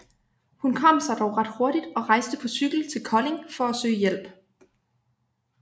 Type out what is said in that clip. Hun kom sig dog ret hurtigt og rejste på cykel til Kolding for at søge hjælp